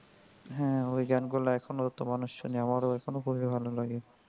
হ্যা ওই গানগুলো এখনো তো মানুষ শুনে আমার এখনো খুবই ভালো লাগে.